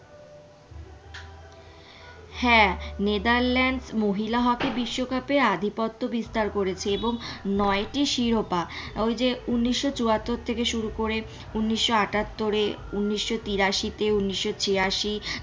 হ্যাঁ নেদারল্যান্ড মহিলা হকি বিশ্বকাপে আধিপত্য বিস্তার করেছে এবং নয়টি শিরোপা ওই যে উন্নিশ চুয়াত্তর থেকে শুরু করে উন্নিশ আটাত্তরে উন্নিশ তিরাশিতে উন্নিশ ছিয়াশি।